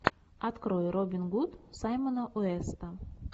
открой робин гуд саймона уэста